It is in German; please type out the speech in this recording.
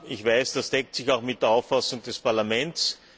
Ich weiß, das deckt sich auch mit der Auffassung des Parlaments.